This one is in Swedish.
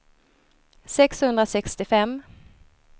sexhundrasextiofem